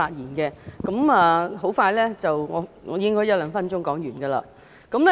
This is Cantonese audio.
我會說得很快，大約一兩分鐘便可說完。